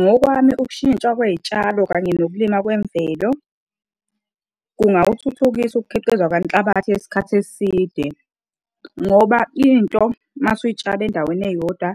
Ngokwami, ukushintshwa kwey'tshalo kanye nokulima kwemvelo kungawuthuthukisa ukukhiqiza kwenhlabathi yesikhathi eside. Ngoba into mase uy'tshale endaweni eyodwa